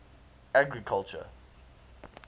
agriculture